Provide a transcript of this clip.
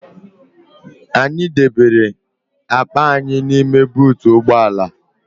Anyị debere akpa anyị n'ime buutu ụgbọ ala